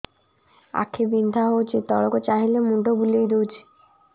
ଆଖି ବିନ୍ଧା ହଉଚି ତଳକୁ ଚାହିଁଲେ ମୁଣ୍ଡ ବୁଲେଇ ଦଉଛି